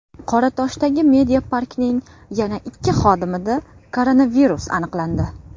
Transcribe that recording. Qoratoshdagi Mediapark’ning yana ikki xodimida koronavirus aniqlandi.